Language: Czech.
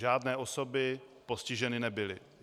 Žádné osoby postiženy nebyly.